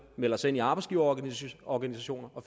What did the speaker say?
melder sig ind i arbejdsgiverorganisationer og